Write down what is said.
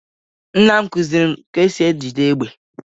nnam kụziiri m ka e si ejide égbè.